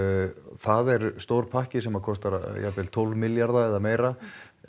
það er stór pakki sem kostar jafnvel tólf milljarða eða meira